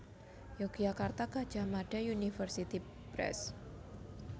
Yogyakarta Gadjah Mada University Press